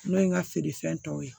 N'o ye n ka feerefɛn tɔw ye